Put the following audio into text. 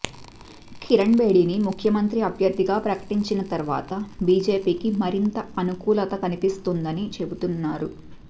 కిరణ్ బేడీని ముఖ్యమంత్రి అభ్యర్థిగా ప్రకటించిన తర్వాత బీజేపీకి మరింత అనుకూలత కనిపిస్తోందని చెబుతున్నారు